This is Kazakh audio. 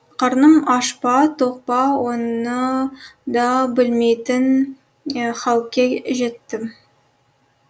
қарным аш па тоқ па оны да білмейтін халке жеттім